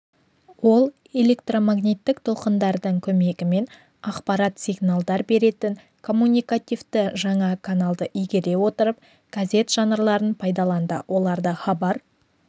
ол электромагниттік толқындардың көмегімен ақпарат сигналдар беретін коммуникативті жаңа каналды игере отырып газет жанрларын пайдаланды оларды хабар